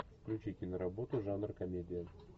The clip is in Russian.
включи киноработу жанр комедия